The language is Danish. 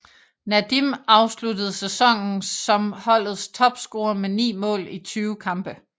Nadim afsluttede sæsonen som holdets topscorer med 9 mål i 20 kampe